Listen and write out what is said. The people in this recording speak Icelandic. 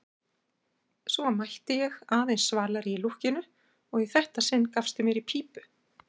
Svo mætti ég, aðeins svalari í lúkkinu, og í þetta sinn gafstu mér í pípu.